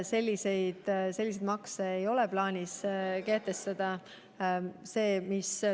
Selliseid makse ei ole plaanis kehtestada.